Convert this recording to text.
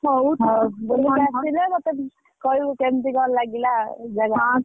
ହଉ ହଉ ଗୁଡମ picnic ରୁ ଆସିଲେ ମୋତେ, କହିବୁ କେମିତି କଣ ଲାଗିଲା ଆଉ? ଯା ଯା ।